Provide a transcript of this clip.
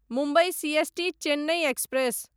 Mumbai CST Chennai express